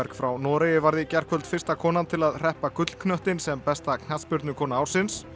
frá Noregi varð í gærkvöld fyrsta konan til að hreppa gullknöttinn sem besta knattspyrnukona ársins